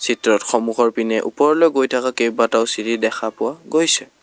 চিত্ৰত সন্মুখৰ পিনে ওপৰলৈ গৈ থকা কেইবাটাও চিৰি দেখা পোৱা গৈছে।